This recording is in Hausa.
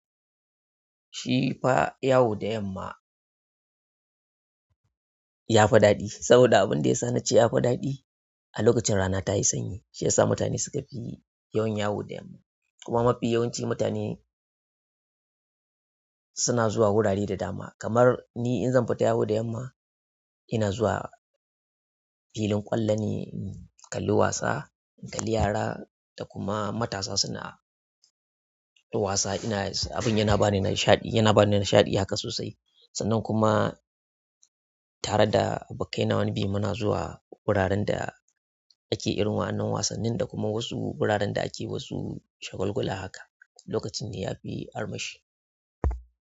Shi fa yawo da yamma ya fi daɗi saboda abin da ya sa nace ya fi daɗi a lokacin rana ta yi sanyi. Shi ya sa mutane suka fi yawan yawu da yamma. Kuma mafi yawanci mutane suna zuwa wurare da dama. Kamar ni in zan fita yawo da yamma, ina zuwa filin ƙwallone in kalli wasa, in kalli yara da kuma matasa suna wasa. Ina abin yana bani nishaɗi, yana bani nishaɗi haka sosai. Sannan kuma tare da abokaina wani bi muna zuwa wuraren da ake irin wannan wasannin da kuma wasu wuraren da ake wasu shagulgula haka. Lokacin ne yafi armashi.